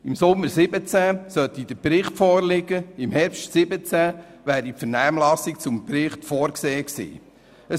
Im Sommer 2017 hätte der Bericht vorliegen sollen, im Herbst 2017 wäre die Vernehmlassung zum Bericht vorgesehen gewesen.